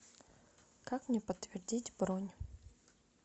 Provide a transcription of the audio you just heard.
как мне подтвердить бронь